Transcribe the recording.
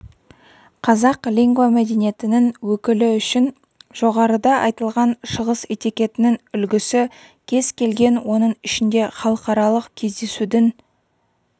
қазақ лингвомәдениетінің өкілі үшін жоғарыда айтылған шығыс этикетінің үлгісі кез келген оның ішінде халықаралық кездесудің